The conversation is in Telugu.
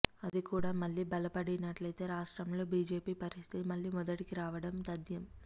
అది కూడా మళ్ళీ బలపడినట్లయితే రాష్ట్రంలో బీజేపీ పరిస్థితి మళ్ళీ మొదటికి రావడం తధ్యం